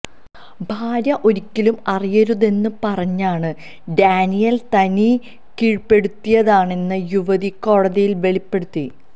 ഭാര്യ ഒരിക്കലും അറിയരുതെന്നു പറഞ്ഞാണ് ഡാനിയേല് തന്നെ കീഴ്പ്പെടുത്തിയതെന്ന് യുവതി കോടതിയില് വെളിപ്പെടുത്തി